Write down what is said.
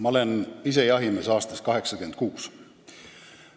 Ma olen ise jahimees aastast 1986.